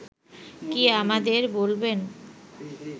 কি আমাদের বলবেন